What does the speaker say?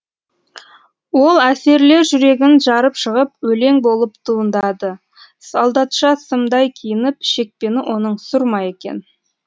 ол әсерлер жүрегін жарып шығып өлең болып туындады солдатша сымдай киініп шекпені оның сұр ма екен